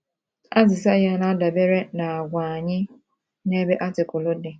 Azịza ya na - adabere n’àgwà anyị n’ebe Artikụlụ dị.